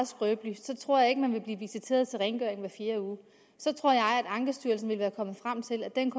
skrøbelig så tror jeg ikke man vil blive visiteret til rengøring hver fjerde uge så tror jeg at ankestyrelsen ville være kommet frem til at den